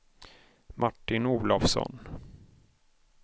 Martin Olofsson